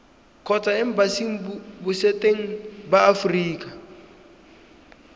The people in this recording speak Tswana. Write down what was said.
kgotsa embasing botseteng ba aforika